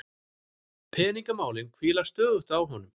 Peningamálin hvíla stöðugt á honum.